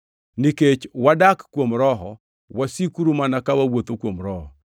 Nikech wadak kuom Roho, wasikuru mana ka wawuotho kuom Roho.